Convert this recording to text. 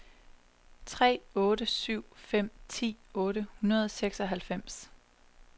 tre otte syv fem ti otte hundrede og seksoghalvfems